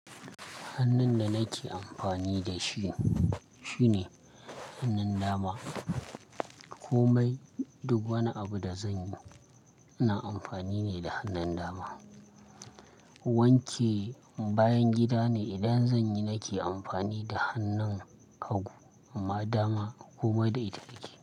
Hannun da nake amfani da shi shine hannun dama. Komai duk wani abu da zanyi ina amfani ne da hannun dama. Wanke bayan gida ne idan zanyi nake amfani da hannun hagu amma dama komai da ita nike.